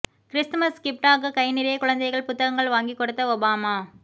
Christmas கிப்ட்டாக கை நிறைய குழந்தைகள் புத்தகங்கள் வாங்கி கொடுத்த ஒபாமா